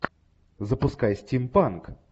запускай стимпанк